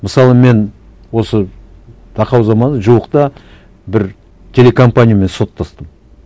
мысалы мен осы тақау заманда жуықта бір телекомпаниямен соттастым